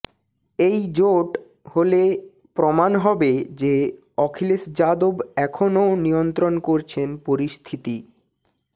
এই জোট হলে প্রমাণ হবে যে অখিলেশ যাদব এখনও নিয়ন্ত্রণ করছেন পরিস্থিতি